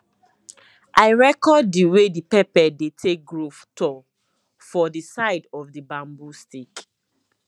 i record the way the pepper dey take grow tall for the side of the bamboo stick